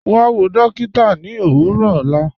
Wà wọ̀ dọ̀kìtà ní òwurọ̀ ọlá